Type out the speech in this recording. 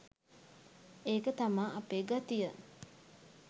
ඒක තමා අපේ ගතිය